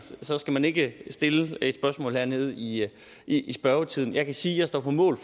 så skal man ikke stille et spørgsmål hernede i i spørgetiden jeg kan sige at jeg står på mål